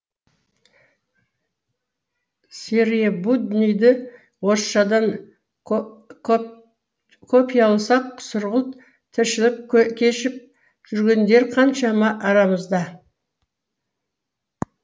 серые будниді орысшадан копияласақ сұрғылт тіршілік кешіп жүргендер қаншама арамызда